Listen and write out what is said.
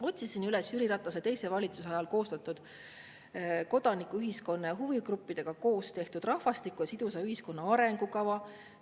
Otsisin üles Jüri Ratase teise valitsuse ajal koostatud kodanikuühiskonna ja huvigruppidega koos tehtud rahvastiku ja sidusa ühiskonna arengukava.